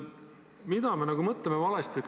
Mida me nagu valesti mõtleme?